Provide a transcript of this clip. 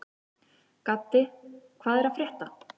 Gaddi, hvað er að frétta?